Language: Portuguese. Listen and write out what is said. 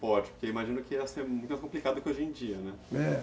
Porque eu imagino que ia ser muito mais complicado que hoje em dia, né? É.